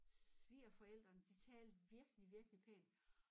Svigerforældrene de talte virkelig virkelig pænt